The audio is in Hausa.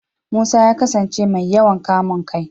Musa ya kasance mai yawan kamun kai.